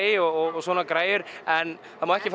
og svona græjur en það má ekki fara